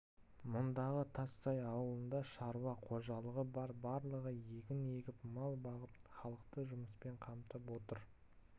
мұндағы тассай ауылында шаруа қожалығы бар барлығы егін егіп мал бағып халықты жұмыспен қамтып отыр